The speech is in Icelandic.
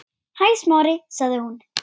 Hæ, Smári- sagði hún.